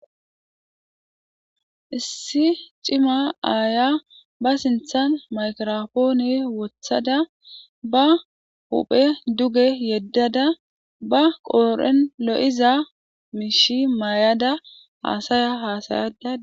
issi cima aaya ba sinthan makropooni wothada ba huphe duge yeddada ba qooren lo7iza miishi may7ada haasaya haasayada